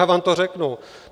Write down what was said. Já vám to řeknu.